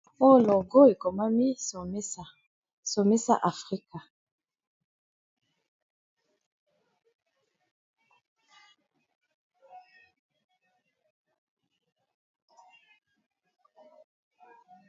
Oyo logo ekomami Somisa, Somisa Africa.